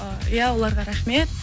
иә оларға рахмет